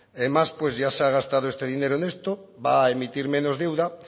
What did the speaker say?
más pues ya se ha gastado este dinero en esto va a emitir menos deuda